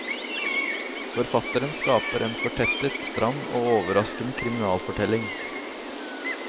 Forfatteren skaper en fortettet, stram og overraskende kriminalfortelling.